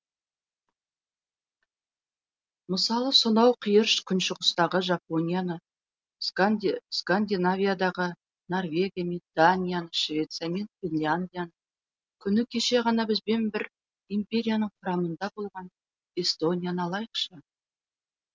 мысалы сонау қиыр күншығыстағы жапонияны скандинавиядағы норвегия мен данияны швеция мен финляндияны күні кеше ғана бізбен бір империяның құрамында болған эстонияны алайықшы